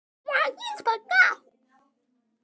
Þú lítur illa út